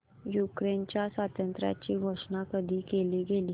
युक्रेनच्या स्वातंत्र्याची घोषणा कधी केली गेली